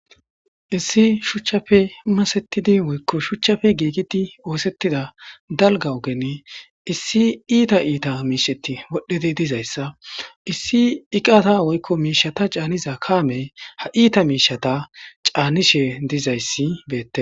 issi shuchchafe umasettidi woykko shuchchafe giigiti oosettida dalga ogen issi iita iita miisheti wodhedi dizayssa issi iqaata woykko miishata caaniza kaamey ha iita miishata caanishe dizayssi beette